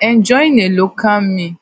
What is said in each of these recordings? enjoying a local meal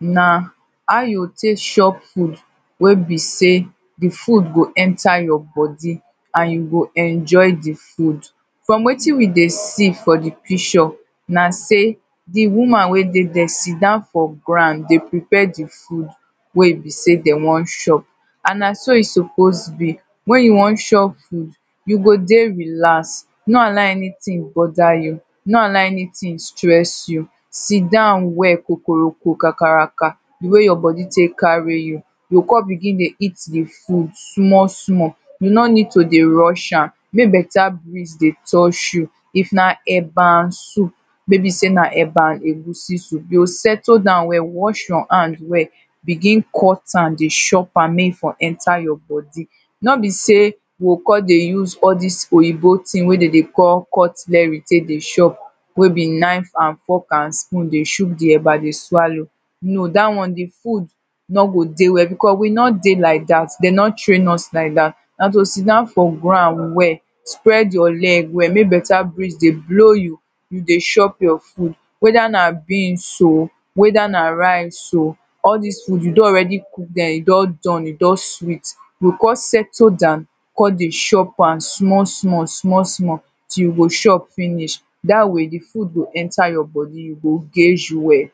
na how you go take shop food wey be sey, di food go enter your body and you go enjoy di food. from wetin we dey see for di picture na sey, di woman when dey there sit down for ground dey prepare di food. wey e be sey dem want chop and na so e supposed be when you want chop food you go dey relax, nor allow anything border you, nor allow anything stress you, sit down well kokoroko kakaraka. di wey your body take carry you, you go come begin dey eat the food small small. you nor need to dey rush am, make better breeze dey touch you, if na eba and soup maybe sey na eba and egusi soup, you go settle down well, wash your hand well, begin cut am dey chop am make e for enter your body. nor be sey we come dey use all dis oyibo thing wey dem dey call cutlery take dey chop. wey be knife and fork and spoon take dey shook di eba dey swallow, know dat one di food nor go dey well, beacause we nor dey like dat dem nor train us like dat. na to sitdown for ground well, spread your leg well, make better breeze dey blow you, you dey chop your food, wether na beans oh, wether na rice oh, all dis food you don already cook dem, e don don e don sweet. you go come settle down, come dey chop am small small, small small till you go chop finish. dat way di food go enter your body, you go guage well.